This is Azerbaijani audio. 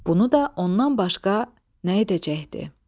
Bunu da ondan başqa nə edəcəkdi?